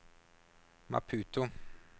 Maputo